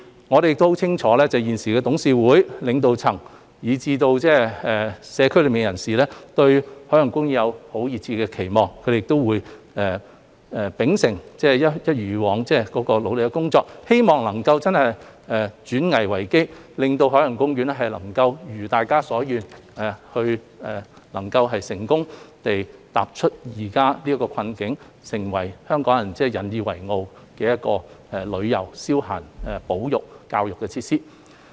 我們亦很清楚現時董事會、領導層，以至社區內的人士，對海洋公園都抱有熱切的期望，園方會秉承並一如以往般努力工作，希望能夠轉危為機，令海洋公園可如大家所願，成功走出現時的困境，成為令香港人引以為傲的旅遊、消閒、保育和教育設施。